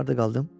Harda qaldım?